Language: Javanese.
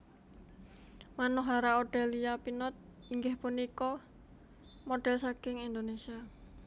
Manohara Odelia Pinot inggih punika model saking Indonesia